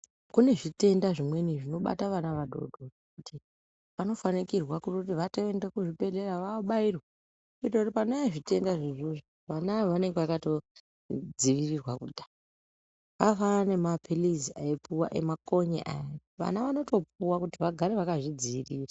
Kune zvitenda zvimweni zvinobata vana vadodori vanofanikirwa kuti vatoende kuzvibhedhlera vabairwe. Kuitira kuti panouya zvitenda izvozvo vana ava vanenge vakatodzivirirwa kudhaya. Zvakafanana nemaphirizi aipuwa emakonye aya vana vanotopuwa kuti vagare vakazvidzivirira.